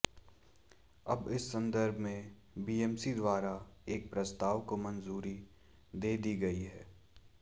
अब इस संदर्भ में बीएमसी द्वारा एक प्रस्ताव को मंजूरी दे दी गयी है